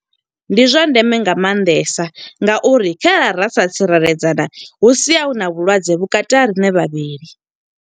Ndi zwa ndeme nga maanḓesa nga uri khare ra sa tsireledzana, hu sia hu na vhulwadze vhukati ha riṋe vhavhili.